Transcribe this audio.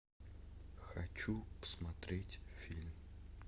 хочу посмотреть фильм